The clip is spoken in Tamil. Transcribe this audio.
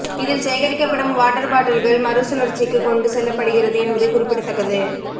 இதில் சேகரிக்கப்படும் வாட்டர் பாட்டில்கள் மறுசுழற்சிக்கு கொண்டு செல்லப்படுகிறது என்பது குறிப்பிடத்தக்கது